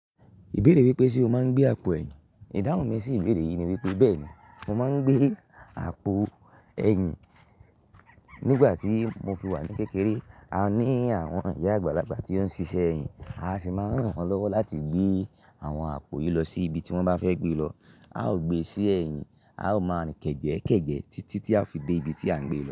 Ìbéèrè wípé ṣe o máa ń gbé àpò ẹ̀yìn? Ìdáhùn mi sí ìbéèrè yìí ni wípé bẹ́ẹ̀ ni, mo máa ń gbé àpò ẹ̀yìn. Nígbà tí mo fi wà ní kékeré, a ní àwọn ìyá àgbàlagbà tí ó ń ṣiṣẹ́ ẹ̀yìn. A sì máa ń ràn wọ́n lọ́wọ́ láti gbé àwọn àpò yìí lọ sí ibi tí wọ́n bá fẹ́ gbé lọ. A ó gbe sí ẹ̀yìn, a ó máa kẹ́jẹ̀ẹ́kẹ̀jẹ̀ títí tí a fi dé ibi tí à ń gbé lọ.